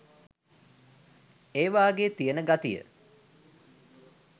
ඒවාගේ තියන ගතිය